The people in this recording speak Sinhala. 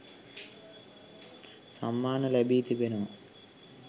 සම්මාන ලැබී තිබෙනවා.